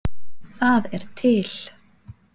Það er til